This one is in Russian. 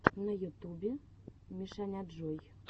на ютубе мишаняджой